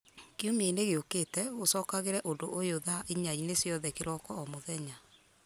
kiumia-inĩ gĩũkĩte ũcokagĩre ũndũ ũyũ thaa inya-inĩ ciothe kĩroko o mũthenya